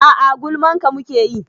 A'a gulman ka muke yi